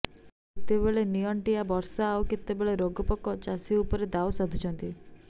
କେତେବେଳେ ନିଅଣ୍ଟିଆ ବର୍ଷା ଆଉ କେତେବେଳେ ରୋଗପୋକ ଚାଷୀ ଉପରେ ଦାଉ ସାଧୁଛନ୍ତି